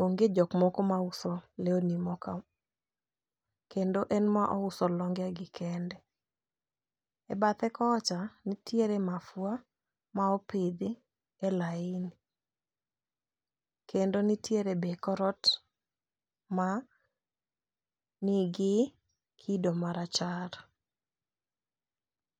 onge jok moko ma uso lewni moko. Kendo en ema ouso longe gi kende. E bathe kocha nitiere mafua ma opidhi e laini. Kendo nitiere be kor ot ma nigi kido ma rachar.